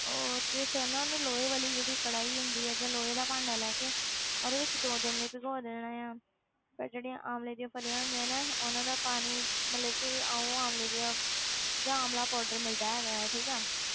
ਉਹ ਤੇ ਫਿਰ ਨਾ ਉਹਨੂੰ ਲੋਹੇ ਵਾਲੀ ਜਿਹੜੀ ਕੜਾਹੀ ਹੁੰਦੀ ਹੈ ਜਾਂ ਲੋਹੇ ਦਾ ਭਾਂਡਾ ਲੈ ਕੇ ਉਹਦੇ ਵਿੱਚ ਦੋ ਦਿਨ ਲਈ ਭਿਗੋ ਦੇਣਾ ਆਂ, ਫਿਰ ਜਿਹੜੀਆਂ ਆਮਲੇ ਦੀਆਂ ਫ਼ਲੀਆਂ ਹੁੰਦੀਆਂ ਨੇ, ਉਹਨਾਂ ਦਾ ਪਾਣੀ ਮਤਲਬ ਕਿ ਉਹ ਆਮਲੇ ਦੀਆਂ ਜਾਂ ਆਮਲਾ powder ਮਿਲਦਾ ਹੈਗਾ ਹੈ ਠੀਕ ਹੈ।